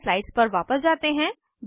अब अपनी स्लाइड्स पर वापस जाते हैं